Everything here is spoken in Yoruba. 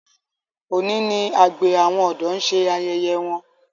òní ní àgbè àwọn odò ṣe ayẹyẹ wón.